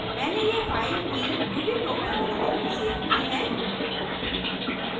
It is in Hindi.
मैंने यह फाइल भी rubyprogram फोल्डर में सेव की है